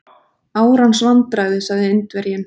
Árans vandræði sagði Indverjinn.